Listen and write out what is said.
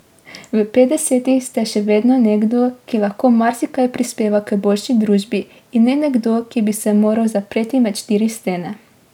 V petdesetih ste še vedno nekdo, ki lahko marsikaj prispeva k boljši družbi, in ne nekdo, ki bi se moral zapreti med štiri stene.